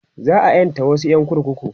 za'a ƴanta wasu ƴan kurkuku